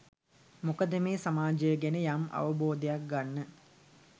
මොකද මේ සමාජය ගැන යම් අවබෝධයක් ගන්න